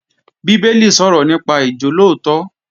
Bíbélì sọ̀rọ̀ nípa ìjólóòtọ́